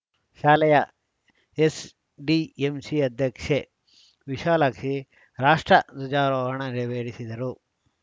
ಶಾಲೆಯ ಎಸ್‌ಡಿಎಂಸಿ ಅಧ್ಯಕ್ಷೆ ವಿಶಾಲಾಕ್ಷಿ ರಾಷ್ಟಧ್ವಜಾರೋಹಣ ನೆರವೇರಿಸಿದರು